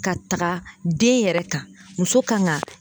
Ka taga den yɛrɛ kan muso kan ga